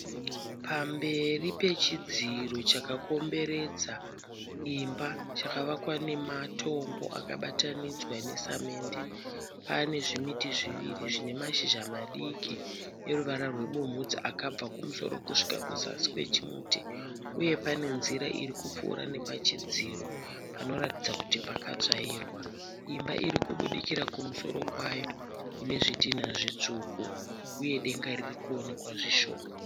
Pamberi pechidziro chakakomberedza imba chakavakwa nematombo akabatanidzwa nesemende. Pane zvimiti zviviri zvine mashizha madiki eruvara rwebumhudza akabva kumusoro kusvika kuzasi kwechimuti uye pane nzira iri kupfuura nepachidziro panoratidza kuti pakatsvairwa. Imba iri kubudikira kumusoro kwayo ine zvidhina zvitsvuku uye denga riri kuwonekwa zvishoma.